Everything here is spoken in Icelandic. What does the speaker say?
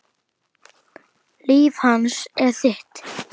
Líf hans er þitt.